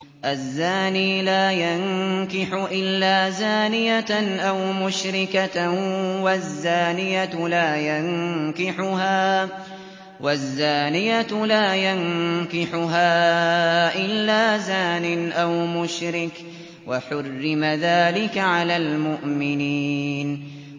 الزَّانِي لَا يَنكِحُ إِلَّا زَانِيَةً أَوْ مُشْرِكَةً وَالزَّانِيَةُ لَا يَنكِحُهَا إِلَّا زَانٍ أَوْ مُشْرِكٌ ۚ وَحُرِّمَ ذَٰلِكَ عَلَى الْمُؤْمِنِينَ